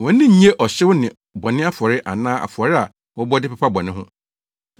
Wʼani nnnye ɔhyew ne bɔne afɔre anaa afɔre a wɔbɔ de pepa bɔne ho.